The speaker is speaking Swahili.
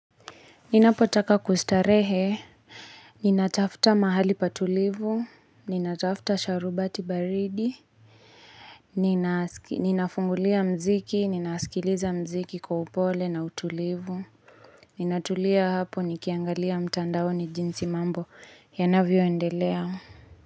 Ninapo taka kustarehe Ninatafta mahali patulivu, ninatafta sharubati baridi Ninafungulia mziki, ninaskiliza mziki kwa upole na utulivu Ninatulia hapo nikiangalia mtandaoni jinsi mambo yanavyo endelea.